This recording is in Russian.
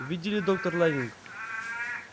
видели доктор лэннинг